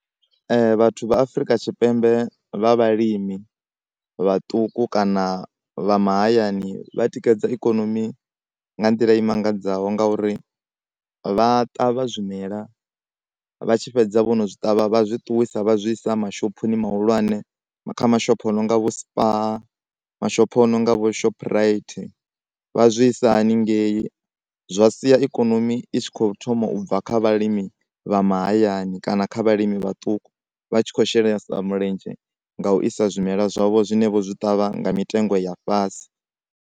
Vhathu vha Afrika Tshipembe vha vhalimi vhaṱuku kana vha mahayani vhatikedza ikonomi nga nḓila i mangadzoho nga uri vha ṱavha zwimela vha tshi fhedza vhono zwi ṱavha vha zwi ṱuwisa vha zwi isa mashophoni mahulwane kha mashopho a nonga vho Spar mashopho a nonga vho Shoprite vha zwi isa hanengei. Zwa sia ikonomi i tshi kho thoma ubva kha vhalimi vha mahayani kana kha vhalimi vhaṱuku vha tshi kho shelesa mulenzhe nga u isa zwimela zwavho zwine vho zwi ṱavha nga mitengo ya fhasi.